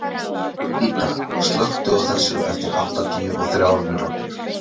Anína, slökktu á þessu eftir áttatíu og þrjár mínútur.